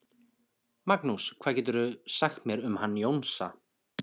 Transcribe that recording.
Magnús: Hvað geturðu sagt mér um hann Jónsa?